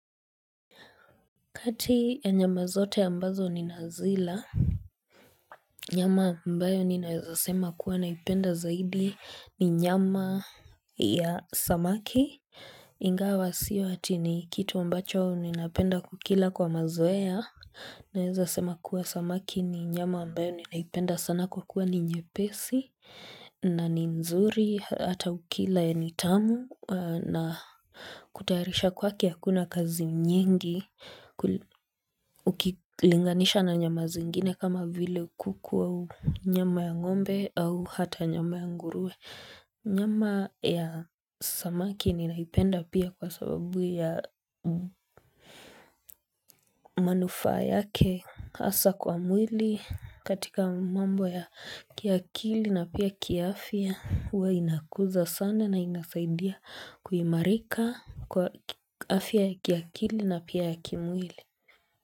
Kati ya nyama zote ya mbazo ninazila, nyama ambayo ninaweza sema kuwa naipenda zaidi ni nyama ya samaki. Ingawa sio hati ni kitu ambacho ninapenda kukila kwa mazoea, naweza sema kuwa samaki ni nyama ambayo ninaipenda sana kwa kuwa ni nyepesi, na ni nzuri, hata ukila ya ni tamu, na kutayaharisha kwake akuna kazi nyingi. Linganisha na nyama zingine kama vile kuku au nyama ya ngombe au hata nyama ya ngurue. Nyama ya samaki ninaipenda pia kwa sababu ya manufaa yake. Asa kwa mwili katika mambo ya kiakili na pia kiafia. Huwa inakuza sana na inasaidia kuhimarika kwa afia ya kiakili na pia ya kimwili.